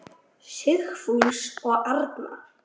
Sigfús og Arna.